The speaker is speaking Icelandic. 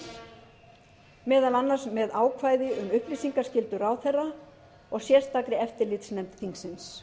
alþingis meðal annars með ákvæði um upplýsingaskyldu ráðherra og sérstakri eftirlitsnefnd þingsins